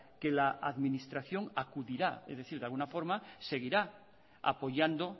que la administración acudirá es decir que de alguna forma seguirá apoyando